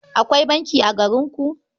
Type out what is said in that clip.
Akwai banki a garinku?